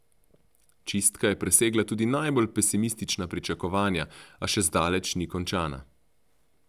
Čistka je presegla tudi najbolj pesimistična pričakovanja, a še zdaleč ni končana.